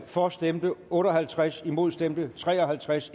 for stemte otte og halvtreds imod stemte tre og halvtreds